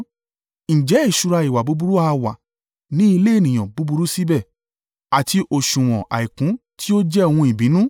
Ǹjẹ́ ìṣúra ìwà búburú ha wà ní ilé ènìyàn búburú síbẹ̀, àti òsùwọ̀n àìkún tí ó jẹ́ ohun ìbínú?